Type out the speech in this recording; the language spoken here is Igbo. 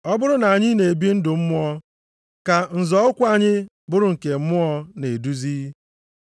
Ọ bụrụ na anyị na-ebi ndụ mmụọ, ka nzọ ụkwụ anyị bụrụ nke mmụọ na-eduzi.